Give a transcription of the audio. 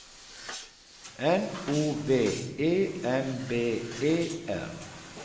N O V E M B E R